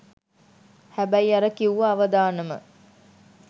හැබැයි අර කිව්ව අවදානම